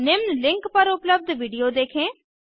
निम्न लिंक पर उपलब्ध विडियो देखें